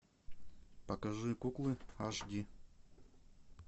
покажи куклы аш ди